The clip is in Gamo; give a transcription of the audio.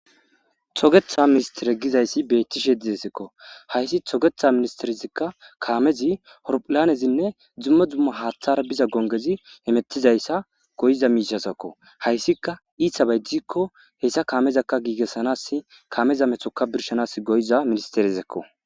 togetha ministere gizayssi beettishe dizesikko hayssi togetha ministerizikka kaamezi horphilanezinne dzummo dzumma haaththar biza gongezi hemettizayssa goyiza miishasakko hayssika iithabaydizkko hessa kaamezakka giigessanas kaameza methoka birshanas goyiza ministerezekko